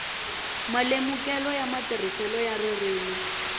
malemukelo ya matirhiselo ya ririmi